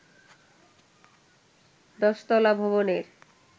১০ তলা ভবনের